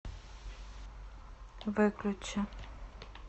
выключи